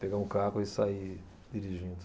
Pegar um carro e sair dirigindo.